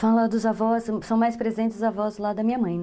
Fala dos avós, são mais presentes os avós lá da minha mãe, né?